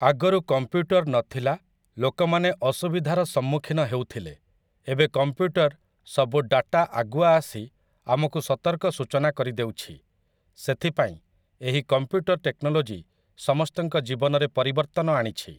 ଆଗରୁ କମ୍ପ୍ୟୁଟର ନଥିଲା ଲୋକ ମାନେ ଅସୁବିଧାରେ ସମ୍ମୁଖୀନ ହେଉଥିଲେ ଏବେ କମ୍ପ୍ୟୁଟର ସବୁ ଡାଟା ଆଗୁଆ ଆସି ଆମକୁ ସତର୍କ ସୂଚନା କରିଦେଉଛି, ସେଥିପାଈଁ ଏହି କମ୍ପ୍ୟୁଟର ଟେକ୍ନୋଲୋଜି ସମସ୍ତଙ୍କ ଜୀବନରେ ପରିବର୍ତ୍ତନ ଆଣିଛି